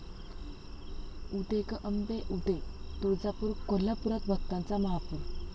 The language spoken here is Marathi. उदे गं अंबे उदे...तुळजापूर, कोल्हापूरात भक्तांचा महापूर!